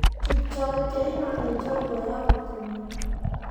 Kipchoge Keino nĩ njorua wa gũteng'era.